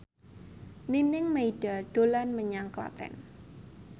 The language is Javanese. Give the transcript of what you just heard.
Nining Meida dolan menyang Klaten